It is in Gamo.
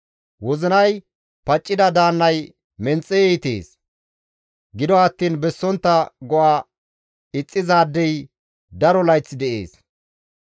Wozinay paccida daannay menxe iitees; gido attiin bessontta go7a ixxizaadey daro layth de7ees.